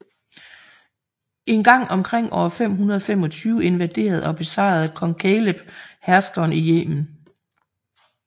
En gang omkring år 525 invaderede og besejrede kong Kaleb herskeren i Yemen